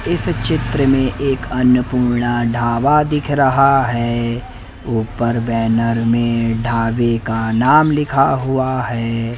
इस चित्र में एक अन्नपूर्णा ढाबा दिख रहा है ऊपर बैनर में ढाबे का नाम लिखा हुआ है।